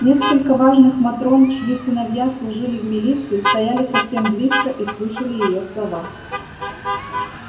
несколько важных матрон чьи сыновья служили в милиции стояли совсем близко и слушали её слова